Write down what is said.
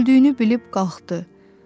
Öldüyünü bilib qalxdı.